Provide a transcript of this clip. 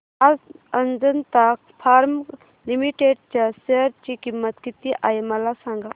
आज Ajanta pharma limited च्या share ची किंमत किती आहे मला सांगा